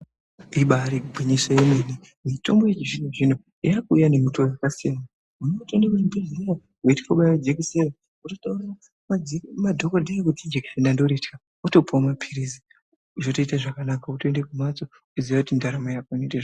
Ibari gwinyiso remene mene mutombo yechizvino zvino yakuuya nemutoo yakasiyaa siyana. Muntu unotoenda kuchibhehlera otaurira madhokotera kuti jekiseni ndoritya wotopiwa mapirizi zvotoita zvakanaka wotoenda kumhatso weitoziya kuti ndaramo yako yaite zvakanaka.